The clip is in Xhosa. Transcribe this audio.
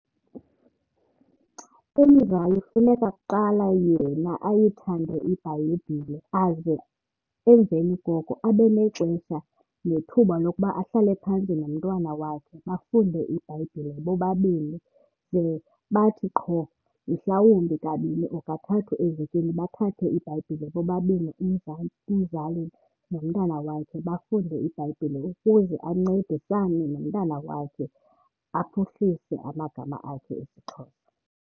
Umzali funeka kuqala yena ayithande iBhayibhile aze emveni koko abe nexesha nethuba lokuba ahlale phantsi nomntwana wakhe bafunde iBhayibhile bobabini. Ze bathi qho mhlawumbi kabini or kathathu evekini bathathe iBhayibhile bobabini umzali, umzali nomntana wakhe bafunde iBhayibhile ukuze ancedisane nomntana wakhe aphuhlise amagama akhe esiXhosa.